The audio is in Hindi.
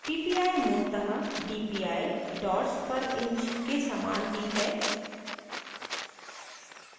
ppi मूलतः dpi dots पर inch के समान ही है